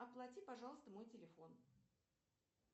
оплати пожалуйста мой телефон